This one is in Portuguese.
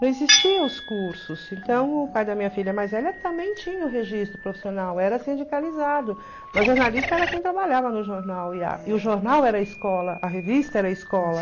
Não existiam os cursos, então o pai da minha filha mais velha também tinha o registro profissional, era sindicalizado, mas jornalista era quem trabalhava no jornal o jornal era a escola, a revista era a escola.